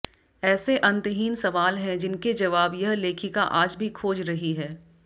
ऐसे अंतहीन सवाल हैं जिनके जवाब यह लेखिका आज भी खोज रही है